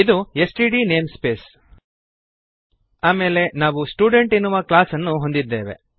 ಇದು STD namespace ಆಮೇಲೆ ನಾವು ಸ್ಟುಡೆಂಟ್ ಎನ್ನುವ ಕ್ಲಾಸ್ಅನ್ನು ಹೊಂದಿದ್ದೇವೆ